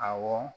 Awɔ